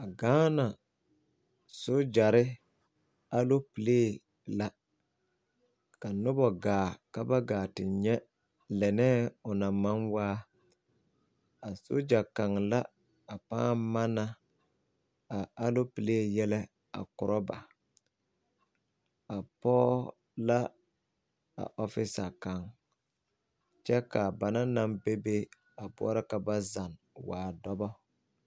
A gaana sogyɛrre aloopilee la ka nobɔ gaa ka ba gaa ti nyɛ lɛnɛɛ o na maŋ waa a sogya kaŋ la a pãã manna a aloopilee yɛlɛ a korɔ ba a pɔɔ la a ɔfisa kaŋ kyɛ kaa ba naŋ naŋ bebe a boɔrɔ ka ba zanne a waa dɔbɔ.